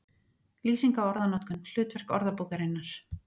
Lýsing á orðanotkun, hlutverk orðabókarinnar